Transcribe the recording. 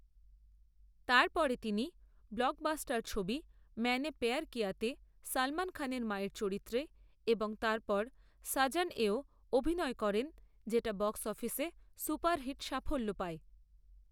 তারপরে তিনি ব্লকবাস্টার ছবি ম্যায়নে প্যায়ার কিয়াতে সলমন খানের মায়ের চরিত্রে এবং তারপর সাজনেও অভিনয় করেন যেটা বক্স অফিসে সুপারহিট সাফল্য পায়।